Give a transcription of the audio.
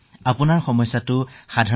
আপোনাৰ পৰিঘটনাটো সামান্য ধৰণৰ